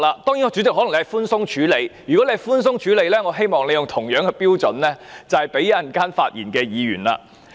當然，主席可能是寬鬆處理，但如果對他寬鬆處理，那我希望主席也以相同的標準來對待稍後發言的議員。